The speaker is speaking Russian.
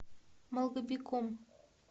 малгобеком